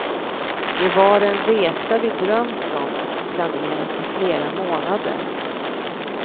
Det var en resa vi drömt om och planerat i flera månader.